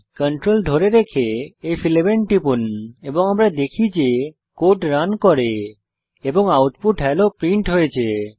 Ctrl ধরে রেখে ফ11 টিপুন এবং আমরা দেখি যে কোড রান করে এবং আউটপুট হেলো প্রিন্ট হয়েছে